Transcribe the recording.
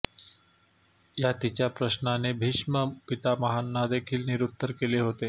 या तिच्या प्रश्नाने भीष्म पितामहांनादेखील निरुत्तर केले होते